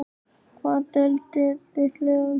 Í hvaða deild er þitt lið á Íslandi?